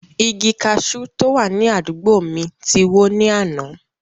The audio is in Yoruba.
Igi kaṣú tó wà ní àdúgbò mi ti wó ní àná.